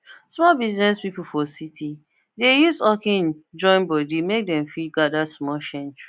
small biz people for city dey use hawking join body make dem fit gather small change